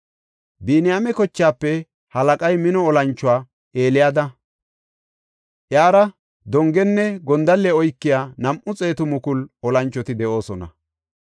Biniyaame kochaafe halaqay mino olanchuwa Eliyaada; iyara dongenne gondalle oykiya nam7u xeetu mukulu olanchoti de7oosona.